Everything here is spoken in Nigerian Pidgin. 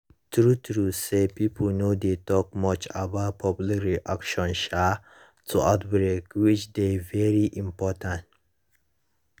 true true say pipo no dey talk much about public reaction um to outbreak which dey very important